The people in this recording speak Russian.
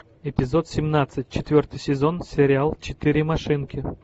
эпизод семнадцать четвертый сезон сериал четыре машинки